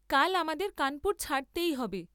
কাল আমাদের কানপুর ছাড়তেই হবে।